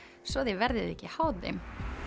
svo þið verðið ekki háð þeim